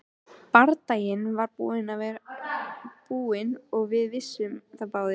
Bardaginn var búinn og við vissum það báðir.